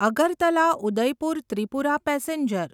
Agartala Udaipur Tripura passenger